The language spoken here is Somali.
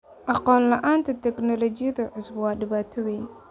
Aqoon la'aanta tignoolajiyada cusub waa dhibaato weyn.